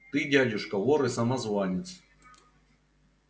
ты дядюшка вор и самозванец